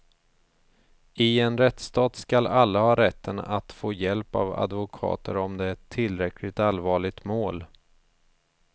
I en rättsstat skall alla ha rätten att få hjälp av advokater om det är ett tillräckligt allvarligt mål.